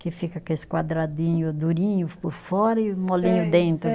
Que fica aqueles quadradinho durinho por fora e molinho dentro.